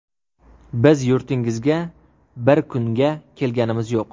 Biz yurtingizga bir kunga kelganimiz yo‘q.